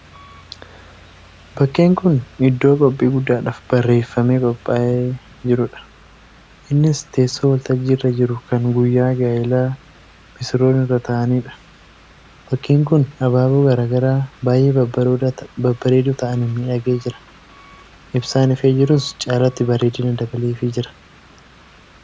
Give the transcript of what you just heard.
Bakkeen kun iddoo qophii guddaadhaf bareeffamee qophaa'ee jirudha. Innis teessoo waltajjiirra jiru kan guyyaa gaa'elaa misirroon irra taa'anidha. Bakkeen kun abaaboo garaagaraa baay'ee babbareedoo ta'aniin miidhagee jira. Ibsaan ifee jirus caalatti bareedina dabaleefi jira.